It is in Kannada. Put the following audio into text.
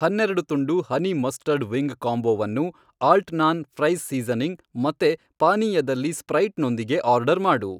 ಹನ್ನೆರಡು ತುಂಡು ಹನಿ ಮಸ್ಟರ್ಡ್ ವಿಂಗ್ ಕಾಂಬೊವನ್ನು ಆಲ್ಟ್ನಾನ್ ಫ್ರೈಸ್ ಸೀಸನಿಂಗ್ ಮತ್ತೇ ಪಾನೀಯದಲ್ಲಿ ಸ್ಪ್ರೈಟ್ನೊಂದಿಗೆ ಆರ್ಡರ್ ಮಾಡು